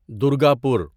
Durgapur